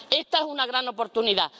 Esta es una gran oportunidad.